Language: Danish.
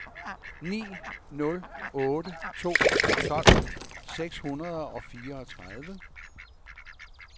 ni nul otte to tolv seks hundrede og fireogtredive